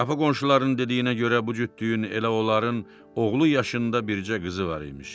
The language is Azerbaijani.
Qapı qonşularının dediyinə görə bu cütlüyün elə onların oğlu yaşında bircə qızı var imiş.